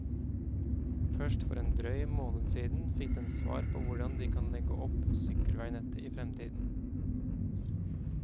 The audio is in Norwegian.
Først for en drøy måned siden fikk den svar på hvordan de kan legge opp sykkelveinettet i fremtiden.